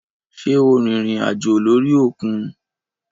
Sé o rìnrìn àjò lórí òkun?